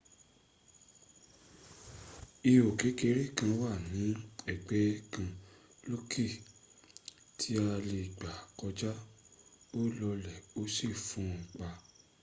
ihò kékeré kan wà ní ẹ̀gbẹ́ kan lókè tí a lè gbà kọjá ó lọlẹ̀ ó sì fúnpa